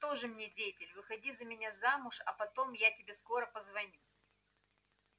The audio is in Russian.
тоже мне деятель выходи за меня замуж а потом я тебе скоро позвоню